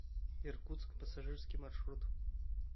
иркутск пассажирский маршрут